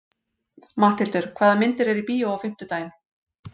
Matthildur, hvaða myndir eru í bíó á fimmtudaginn?